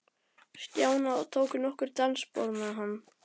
Stjána og tók nokkur dansspor með hann.